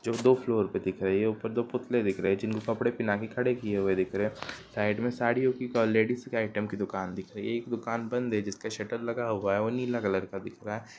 जो दो फ्लोर पे दिख रही है| ऊपर दो पुतले दिख रहे है जिनको कपड़े पहना के खड़े किये हुए दिख रहे है| साइड में साड़ियों की और लेडीस के आइटम की दूकान दिख रही है| एक दूकान बंद है जिसका शटर लगा हुआ और नीला कलर का दिख रहा है।